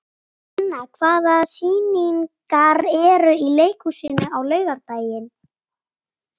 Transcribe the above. Guðna, hvaða sýningar eru í leikhúsinu á laugardaginn?